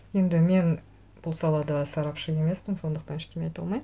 енді мен бұл салада сарапшы емеспін сондықтан ештеңе айта алмаймын